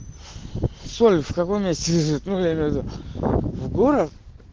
сольф каком месте рядом